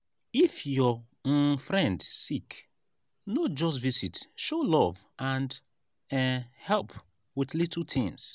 if your um friend sick no just visit show love and um help with little things.